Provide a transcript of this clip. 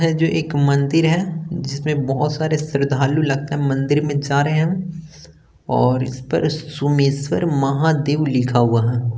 है जो एक मंदिर है जिसमें बहोत सारे श्रद्धालु लगता है मंदिर में जा रहे है और इस पर सुमेश्वर महादेव लिखा हुआ है।